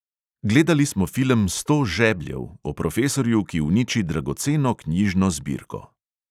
Gledali smo film sto žebljev o profesorju, ki uniči dragoceno knjižno zbirko …